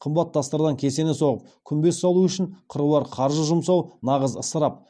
қымбат тастардан кесене соғып күмбез салу үшін қыруар қаржы жұмсау нағыз ысырап